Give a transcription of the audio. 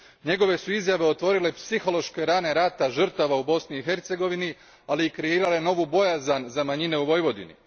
Njegove su izjave otvorile psihološke rane rata žrtava u Bosni i Hercegovini, ali i kreirale novu bojazan za manjine u Vojvodini.